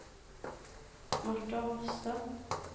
Marta Hofstad